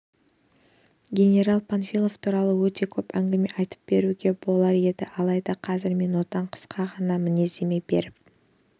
генерал панфилов туралы өте көп әңгіме айтып беруге болар еді алайда қазір мен отан қысқа ғана мінездеме беріп